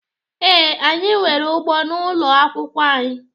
Ee, anyị nwere ugbo n'ụlọ akwụkwọ anyị.